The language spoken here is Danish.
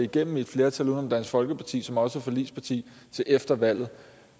det med et flertal uden om dansk folkeparti som også er forligsparti til efter valget